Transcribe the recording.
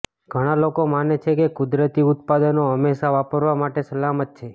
ઘણાં લોકો માને છે કે કુદરતી ઉત્પાદનો હંમેશા વાપરવા માટે સલામત છે